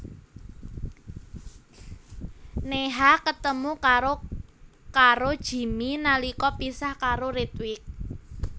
Neha ketemu karo karo Jimmy nalika pisah karo Ritwik